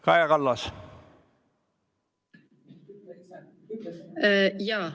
Kaja Kallas, palun!